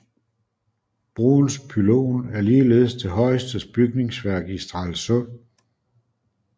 Broens pylon er ligeledes det højeste bygningsværk i Stralsund